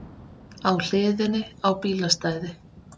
Á hliðinni á bílastæði